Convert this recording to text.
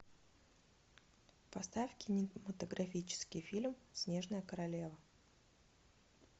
поставь кинематографический фильм снежная королева